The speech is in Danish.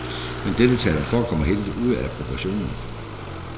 Men deltagelsen forekommer helt ude af proportioner.